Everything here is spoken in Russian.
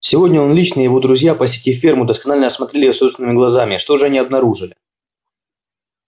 сегодня он лично и его друзья посетив ферму досконально осмотрели её собственными глазами и что же они обнаружили